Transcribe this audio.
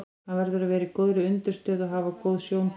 Hann verður að vera á góðri undirstöðu og hafa góð sjóntæki.